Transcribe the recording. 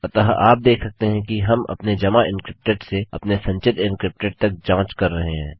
अतः आप देख सकते हैं कि हम अपने जमा एन्क्रिप्टेड से अपने संचित एन्क्रिप्टेड तक जाँच कर रहे हैं